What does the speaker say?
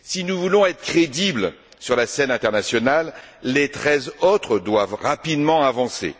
Si nous voulons être crédibles sur la scène internationale, les treize autres doivent rapidement avancer.